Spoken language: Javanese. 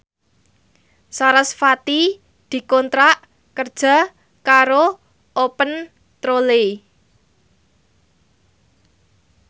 sarasvati dikontrak kerja karo Open Trolley